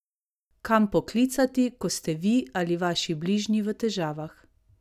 Kam poklicati, ko ste vi ali vaši bližnji v težavah?